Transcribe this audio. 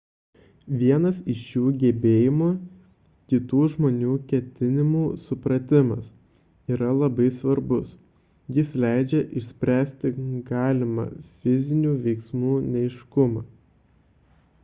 vienas iš šių gebėjimų – kitų žmonių ketinimų supratimas – yra labai svarbus jis leidžia išspręsti galimą fizinių veiksmų neaiškumą